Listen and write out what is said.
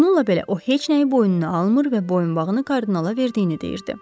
Bununla belə o heç nəyi boynuna almır və boyunbağını kardinala verdiyini deyirdi.